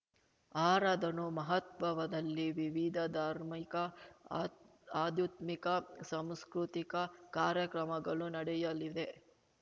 ಆರಾಧನು ಮಹತ್ಬವವದಲ್ಲಿ ವಿವಿಧ ಧಾರ್ಮಿಕ ಆದ್ ಆಧ್ಯುತ್ಮಿಕ ಸಾಂಸ್ಕೃತಿಕ ಕಾರ್ಯಕ್ರಮಗಳು ನಡೆಯಲಿವೆ